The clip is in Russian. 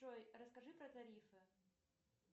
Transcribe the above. джой расскажи про тарифы